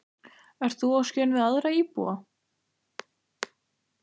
Ert þú á skjön við aðra íbúa?